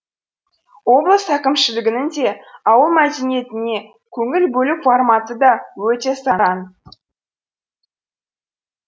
облыс әкімшілігінің де ауыл мәдениетіне көңіл бөлу форматы да өте сараң